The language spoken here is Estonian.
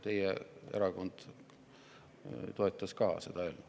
Teie erakond toetas ka seda eelnõu.